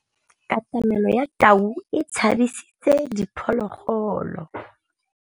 Katamêlô ya tau e tshabisitse diphôlôgôlô.